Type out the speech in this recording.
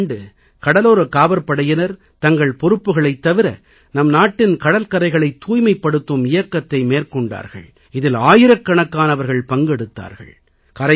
கடந்த ஆண்டு கடலோரக் காவற்படையினர் தங்கள் பொறுப்புகளைத் தவிர நம் நாட்டின் கடல்கரைகளைத் தூய்மைப்படுத்தும் இயக்கத்தை மேற்கொண்டார்கள் இதில் ஆயிரக்கணக்கானவர்கள் பங்கெடுத்தார்கள்